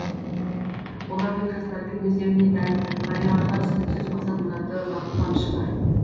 олардың жастардың өздеріне тән қарияларға түсініксіз мақсат мұраты бақыт қуанышы бар